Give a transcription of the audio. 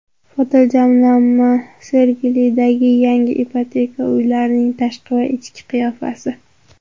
Fotojamlanma: Sergelidagi yangi ipoteka uylarining tashqi va ichki qiyofasi .